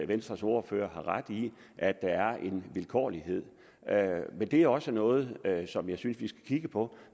venstres ordfører har ret i at der er en vilkårlighed men det er også noget som jeg synes vi skal kigge på